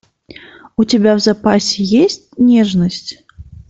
у тебя в запасе есть нежность